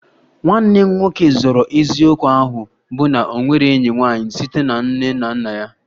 Nwanne m nwoke zoro eziokwu ahụ bụ na o nwere enyi nwanyị site na nne na nna anyị